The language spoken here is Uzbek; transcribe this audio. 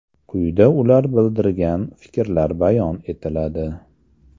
Quyida ular bildirgan fikrlar bayon etiladi.